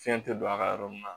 Fiɲɛ tɛ don a ka yɔrɔ min na